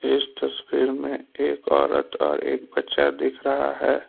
इस तस्वीर में एक औरत और एक बच्चा दिख रहा है।